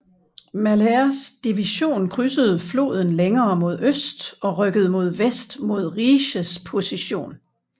Malhers division krydsede floden længere mod øst og rykkede mod vest mod Rieschs position